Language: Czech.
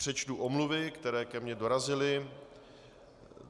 Přečtu omluvy, které ke mně dorazily.